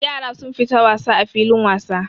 Yara sun fita wasa a filin wasa.